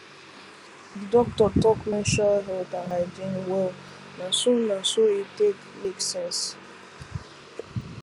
the doctor talk menstrual health and hygiene well na so na so e take make sense